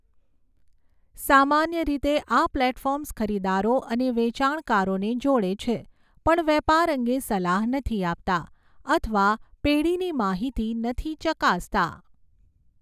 સામાન્ય રીતે, આ પ્લેટફોર્મ્સ ખરીદદારો અને વેચાણકારોને જોડે છે પણ વેપાર અંગે સલાહ નથી આપતા અથવા પેઢીની માહિતી નથી ચકાસતા.